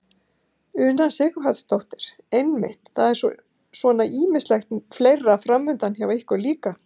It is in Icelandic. Una Sighvatsdóttir: Einmitt og það er svona ýmislegt fleira framundan hjá ykkur líka?